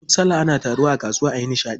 Duk sallah ana taruwa a kasuwa ayi nishaɗi.